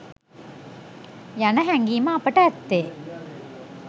යන හැඟීම අපට ඇත්තේ